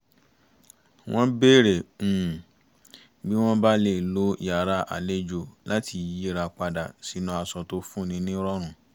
wọ́n bèrè um bí wọ́n bá lè lo yàrá àlejò láti yíra padà sínú aṣọ tó fún ni ní ìrọ̀rùn